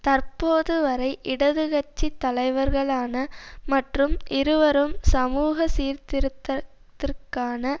தற்போது வரை இடது கட்சி தலைவர்களான மற்றும் இருவரும் சமூக சீர்திருத்தத்திற்கான